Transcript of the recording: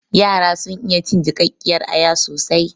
Yara sun iya cin jiƙaƙƙiyar aya soasi